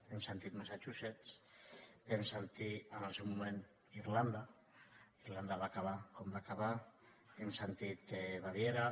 hem sentit massachusetts vam sentir en el seu moment irlanda irlanda va acabar com va acabar hem sentit baviera